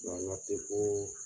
o la ma se foo